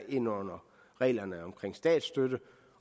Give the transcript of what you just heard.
ind under reglerne om statsstøtte